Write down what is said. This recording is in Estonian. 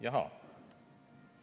Jahaa.